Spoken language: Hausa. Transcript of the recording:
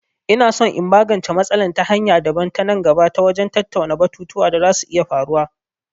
Ina son in magance matsalol ta hanya daban a nan gaba ta wajen tattauna batutuwa da za su iya faruwa.